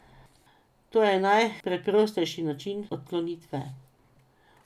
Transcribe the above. To je najpreprostejši način odklonitve.